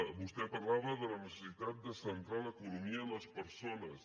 vostè parlava de la necessitat de centrar l’economia en les persones